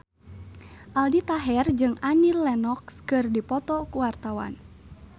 Aldi Taher jeung Annie Lenox keur dipoto ku wartawan